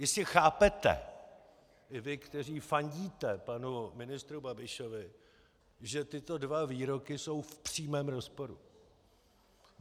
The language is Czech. Jistě chápete i vy, kteří fandíte panu ministru Babišovi, že tyto dva výroky jsou v přímém rozporu.